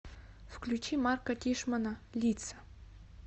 включи марка тишмана лица